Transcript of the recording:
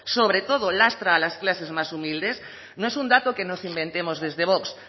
sobre todo lastra a las clases más humildes no es un dato que nos inventemos desde vox